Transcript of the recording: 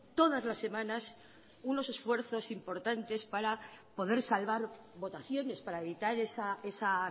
todas las semanas unos esfuerzos importantes para poder salvar votaciones para evitar esa